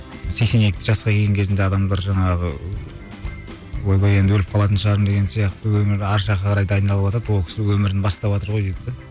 сексен екі жасқа келген кезінде адамдар жаңағы ыыы ойбай енді өліп қалатын шығармын деген сияқты өмір ар жаққа қарай дайындалыватады ол кісі өмірін баставатыр ғой дейді де